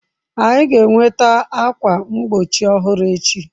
Anyị ga-enweta ákwà mgbochi ọhụrụ echi.